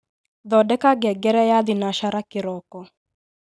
thondeka ngengere ya thinashara kiroko